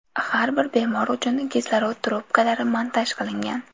Har bir bemor uchun kislorod trubkalari montaj qilingan.